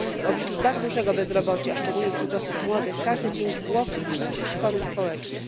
W obliczu tak dużego bezrobocia szczególnie wśród osób młodych każdy dzień zwłoki przynosi szkody społeczne.